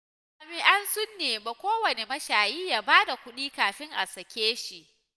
Jami'an sun nemi kowane mashayi ya ba da kuɗi kafin a sakae shi.